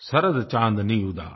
शरद चाँदनी उदास